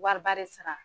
Wariba de sara